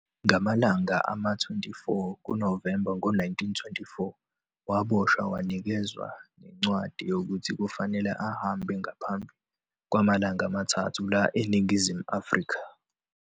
Ngamalanga ama-24 kuNovemba ngo 1924 waboshwa wanikezwa nencwadi yokuthi fanele ahambe ngaphambi kwamalanga amathathu la eNingizimu Afrika.